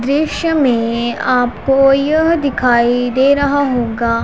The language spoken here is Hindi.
दृश्य में आपको यह दिखाई दे रहा होगा--